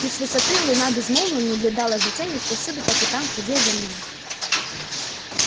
и с высоты луна безмолвно наблюдала за теми кто всюду по пятам ходил за мной